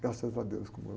Graças a Deus, como eu.